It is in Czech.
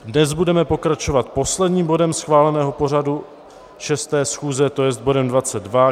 Dnes budeme pokračovat posledním bodem schváleného pořadu šesté schůze, to jest bodem